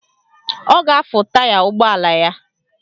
Ọ ga-afụ taya ụgbọala ya.